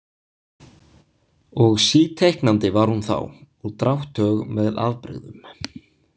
Og síteiknandi var hún þá og drátthög með afbrigðum.